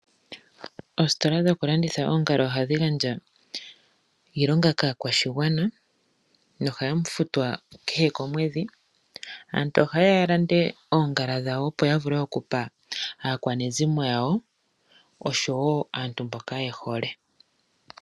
Oositola dhoku landitha oongala ohadhi gandja iilonga kaakwashigwana nohaya futwa kahe komwedhi. Aantu ohaye ya yalande oongala dhawo opo yavule okupa aakwanezimo yawo oshowo aantu mboka yehole.